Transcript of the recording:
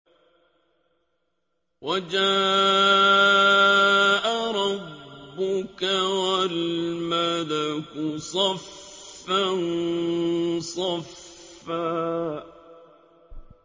وَجَاءَ رَبُّكَ وَالْمَلَكُ صَفًّا صَفًّا